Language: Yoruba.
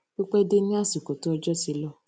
pipe de ni asiko ti ojo ti lo